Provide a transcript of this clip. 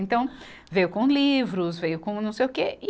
Então veio com livros, veio com não sei o quê. e